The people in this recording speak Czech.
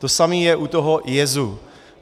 To samé je u toho jezu.